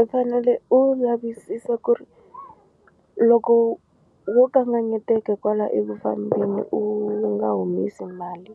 U fanele u lavisisa ku ri loko wo kanganyeteka kwala eku fambeni u nga humesi mali